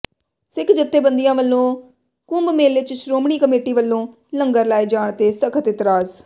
ਸਿੱਖ ਜਥੇਬੰਦੀਆਂ ਵਲੋਂ ਕੁੰਭ ਮੇਲੇ ਚ ਸ਼੍ਰੋਮਣੀ ਕਮੇਟੀ ਵਲੋਂ ਲੰਗਰ ਲਾਏ ਜਾਣ ਤੇ ਸਖਤ ਇਤਰਾਜ਼